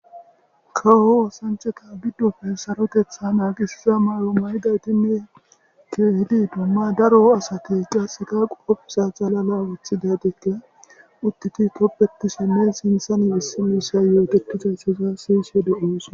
Kawo osanchata gidoppe sarotetha nagizayata mayo mayidaytinne keehid dumma daro asati qaseka bootha xalala wothidaytika utidi tobetishenne sinthani issi mishayi yootetizaysaza siyishe de'osona.